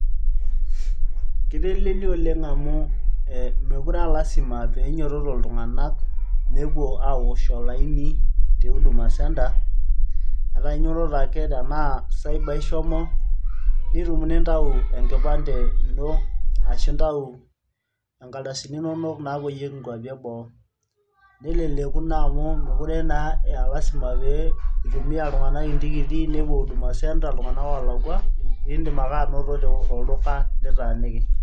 kitelelia oleng amu ee mookure aa lasima pee inyototo iltung'anak nepuo aawosh olaini te huduma centre etaa inyototo ake tenaa cyber ishomo nitum nintau enkipande ino ashu intau e nkardasini inonok naapoyieki inkuapi eboo neleleku naa amu mekure naa aa lasima itumia iltung'anak intikiti nepuo huduma centre iltung'anak oolakua iindim ake anoto tolduka litaaniki.